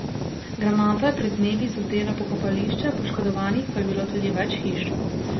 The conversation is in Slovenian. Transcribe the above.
Granata je pred dnevi zadela pokopališče, poškodovanih pa je bilo tudi več hiš.